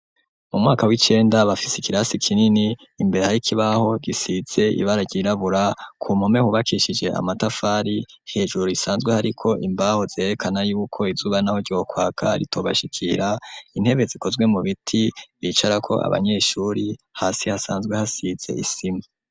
Mu mwaka w'icenda bafise ikirasi kinini imbere hari ikibaho gifise ibara ryirabura ku mpome hubakishijwe amatafari hejuru risanzwe hariko imbaho zerekana yuko izuba naho ryokwaka ritobashikira intebe zikozwe mu biti bicarako abanyeshuri hasi hasanzwe hasize isima.